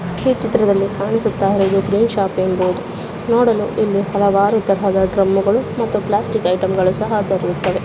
ಈ ಚಿತ್ರದಲ್ಲಿ ಕಾಣಿಸುತ್ತಾ ಇರುವುದು ಗ್ರೀನ್ ಶಾಪಿಂಗ್ ಬೋರ್ಡ್ ನೋಡಲು ಇಲ್ಲಿ ಹಲವಾರು ತರದ ಡ್ರಮ್ಗಳು ಮತ್ತು ಪ್ಲಾಸ್ಟಿಕ್ ಐಟೆಮ್ಗಳು ಸಹ ದೊರೆಯುತ್ತವೆ.